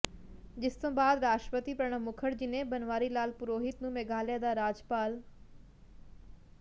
ਜਿਸ ਤੋਂ ਬਾਅਦ ਰਾਸ਼ਟਰਪਤੀ ਪ੍ਰਣਬ ਮੁਖਰਜੀ ਨੇ ਬਨਵਾਰੀ ਲਾਲ ਪੁਰੋਹਿਤ ਨੂੰ ਮੇਘਾਲਿਆ ਦਾ ਰਾਜਪਾਲ